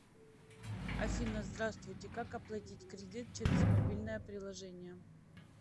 афина здравствуйте как оплатить кредит через мобильное приложение